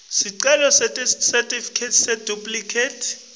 sicelo sesitifiketi seduplikhethi